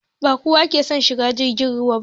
Ba kowa ke son shigan jirgin ruwa ba